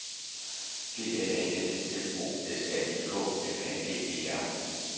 G L A S M O S A I K M A G E R